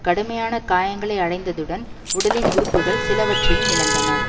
கடுமையான காயங்களை அடைந்ததுடன் உடலின் உறுப்புக்கள் சிலவற்றையும் இழந்தனர்